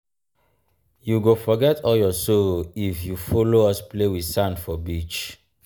you um go forget all your sorrow if you folo um us play wit sand for beach.